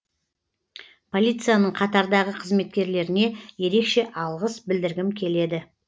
полицияның қатардағы қызметкерлеріне ерекше алғыс білдіргім келеді